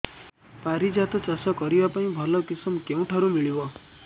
ପାରିଜାତ ଚାଷ କରିବା ପାଇଁ ଭଲ କିଶମ କେଉଁଠାରୁ ମିଳିବ